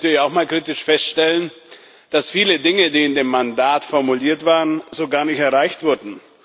Aber ich möchte natürlich auch mal kritisch feststellen, dass viele Dinge, die in dem Mandat formuliert waren, so gar nicht erreicht wurden.